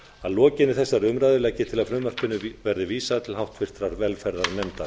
að lokinni þessari umræðu legg ég til að frumvarpinu verði vísað til háttvirtrar velferðarnefndar